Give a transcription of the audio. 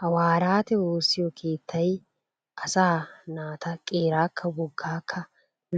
Hawaaraate woossiyo keettay asaa naata qeeraakka woggaakka